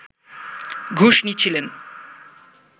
ঘুষ নিচ্ছেলেন